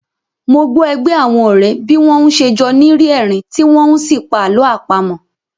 Mo gbọ́ ẹgbẹ́ àwọn ọ̀rẹ́ bí wọ́n n ṣe jọ́ ni rí ẹ̀rín tí wọ́n n sí pa àlọ́ àpamọ́